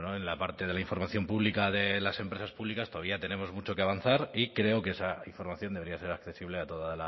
bueno en la parte de la información pública de las empresas públicas todavía tenemos mucho que avanzar y creo que esa información debería ser accesible a toda